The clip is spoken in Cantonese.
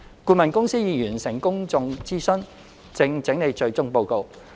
顧問公司已完成公眾諮詢，正整理最終報告。